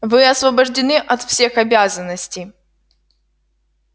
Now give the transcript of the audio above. вы освобождены от всех обязанностей